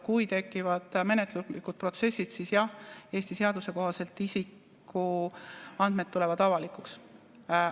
Kui tekivad menetluslikud protsessid, siis jah, Eesti seaduse kohaselt isikuandmed tulevad avalikuks.